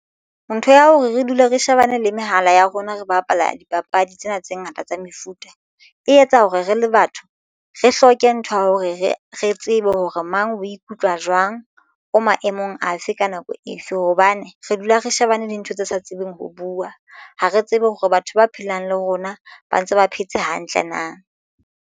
Ntho ya hore re dule re shebane le mehala ya rona re bapala dipapadi tsena tse ngata tsa mefuta e etsa hore re le batho re hloke ntho ya hore re re tsebe hore mang o ikutlwa utlwa jwang o maemong afe ka nako efe hobane re dula re shebane le ntho tse sa tsebeng ho buwa. Ha re tsebe hore batho ba phelang le rona ba ntse ba phetse hantle na.